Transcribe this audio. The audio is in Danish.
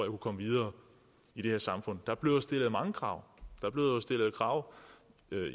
kunne komme videre i det her samfund og der bliver jo stillet mange krav der bliver jo stillet krav